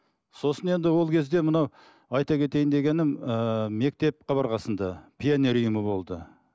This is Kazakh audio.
сосын енді ол кезде мынау айта кетейін дегенім ііі мектеп қабырғасында пионер ұйымы болды